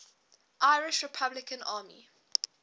irish republican army